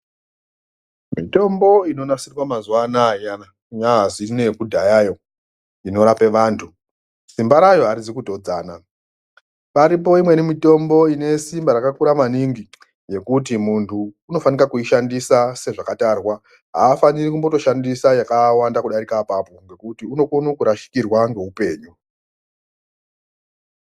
Mitombo inonasirwa mazuwa anaya iyana kunyazi neyekudhayayo inorape vantu simba rayo arizi kutodzana paripo imweni mitombo ine simba rakakura maningi yekuti muntu unofanika kuishandisa sezvakatarwa aafani ri kushandisa yakawanda kudharika apapo ngokuti unokone kurashikirwa ngeupenyu.